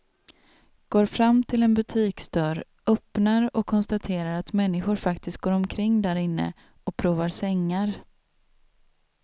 Går fram till en butiksdörr, öppnar och konstaterar att människor faktiskt går omkring därinne och provar sängar.